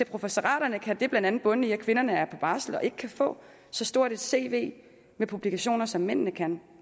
professoraterne kan det blandt andet bunde i at kvinderne er på barsel og ikke kan få så stort et cv med publikationer som mændene kan